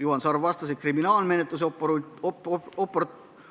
Juhan Sarv vastas, et kriminaalmenetluse